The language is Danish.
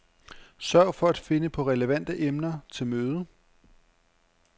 Sørg for at finde på relevante emner til mødet.